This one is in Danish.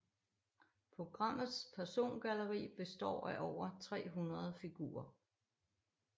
Programmets persongalleri består af over 300 figurer